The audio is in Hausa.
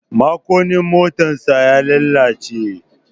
Makunnin motarsa ta lalace.